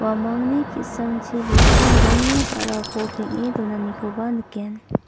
uamangni ki·sangchi gisim rongni ba·rako peng·e donanikoba nikgen.